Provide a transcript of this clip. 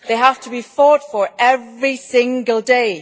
They have to be fought for every single day.